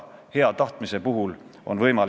Miks me ei aruta edasi, kas see summa või teine summa?